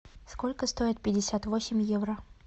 сколько стоит пятьдесят восемь евро